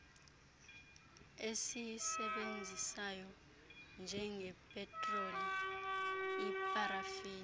esiyisebenzisayo njengepetroli iparafini